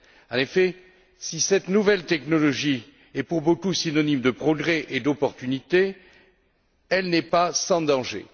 En effet, si cette nouvelle technologie est pour beaucoup synonyme de progrès et d'opportunités, elle n'est pas sans danger.